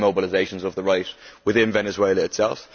there are mobilisations of the right within Venezuela itself.